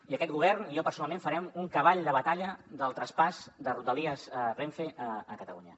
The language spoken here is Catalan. i aquest govern i jo personalment farem un cavall de batalla del traspàs de rodalies renfe a catalunya